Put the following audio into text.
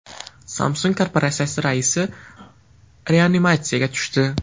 Samsung korporatsiyasi raisi reanimatsiyaga tushdi.